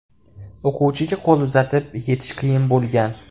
O‘quvchiga qo‘l uzatib yetish qiyin bo‘lgan.